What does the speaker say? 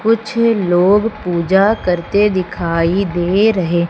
कुछ लोग पूजा करते दिखाई दे रहे--